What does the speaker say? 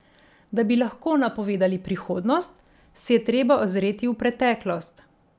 Da bi lahko napovedali prihodnost, se je treba ozreti v preteklost.